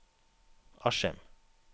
Askim